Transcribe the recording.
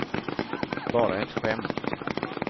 bara ett skämt